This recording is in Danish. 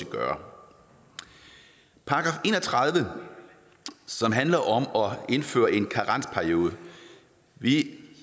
gøre § en og tredive handler om at indføre en karensperiode vi